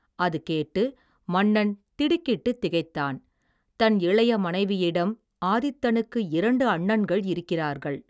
அது கேட்டு மன்னன் திடுக்கிட்டுத் திகைத்தான் தன் இளைய மனைவியிடம் ஆதித்தனுக்கு இரண்டு அண்ணன்கள் இருக்கிறார்கள்.